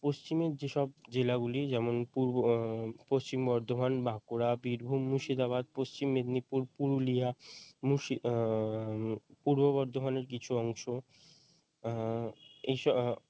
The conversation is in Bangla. পশ্চিমের যেসব জেলাগুলি যেমন পূর্ব ও পশ্চিম বর্ধমান বাঁকুড়া বীরভূম মুর্শিদাবাদ পশ্চিম মেদিনীপুর পুরুলিয়া মুর্শি উম পূর্ব বর্ধমানের কিছু অংশ আহ এই সব